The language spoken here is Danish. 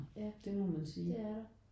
Ja det er der